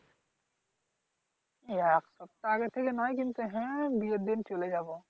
এক সপ্তাহ আগে থেকে নয়। কিন্তু হ্যাঁ, বিয়ের দিন চলে যাব।